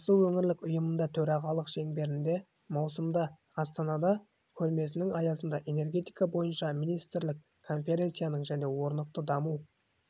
осы өңірлік ұйымында төрағалық шеңберінде маусымда астанада көрмесінің аясында энергия бойынша министрлік конференцияның және орнықты даму